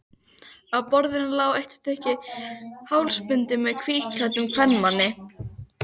Á borðinu lá eitt stykki hálsbindi með hvítklæddum kvenmanni.